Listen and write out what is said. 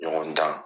Ɲɔgɔn dan